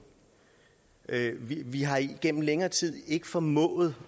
vi har igennem længere tid ikke formået